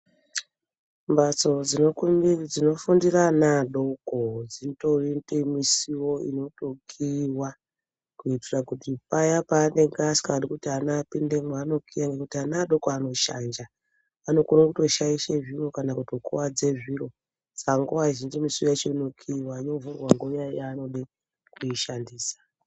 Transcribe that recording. Mbatso dzinofundire ana adoko dzitori ngemisiwo inotokiiwa kuitira kuti paya paanenge asikadi kuti ana apindemwo anokiya ngekuti ana adoko anoshanja. Anokone kutoshaishe zviro kana kutokuvadze zviro. Saka nguva zhinji misiwo yacho inokiiwa, yovhurwa nguva yaanode kuishandisa.